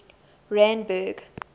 randburg